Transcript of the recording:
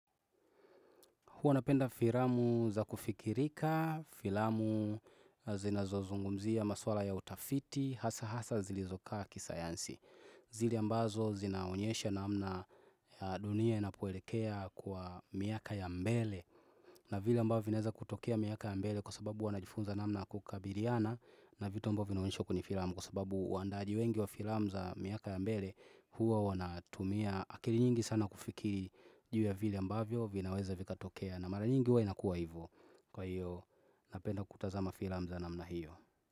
Huwa napenda filamu za kufikirika, filamu zinazozungumzia, maswala ya utafiti, hasa hasa zilizoka kisayansi. Zile ambazo zinaonyesha namna dunia inapoelekea kwa miaka ya mbele. Na vile ambazo vinaeza kutokea miaka ya mbele kwa sababu huwa najifunza namna ya kukabiliana na vitu ambazo vinaonishwa kwenye filamu kwa sababu wandaaji wengi wa filamu za miaka ya mbele huwa wanatumia. Na akili nyingi sana kufikiri juu ya vile ambavyo vinaweza vikatokea na mara nyingi huwa inakuwa hivu. Kwa hiyo napenda kutazama filamu za namna hiyo.